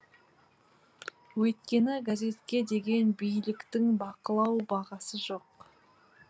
өйткені газетке деген биліктің бақылау бағасы жоқ